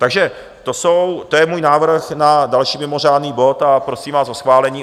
Takže to je můj návrh na další mimořádný bod a prosím vás o schválení.